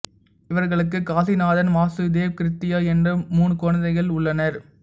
இவர்களுக்கு காசிநாதன் வாசுதேவ் கிருத்யா என மூன்று குழந்தைகள் உள்ளனர்